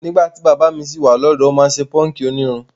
Nígbà tí bàbá mi ṣì wà lọ́dọ̀ọ́, ó máa ń ṣè páńkì onírun.